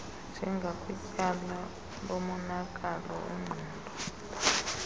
njengakwityala lomonakalo wengqondo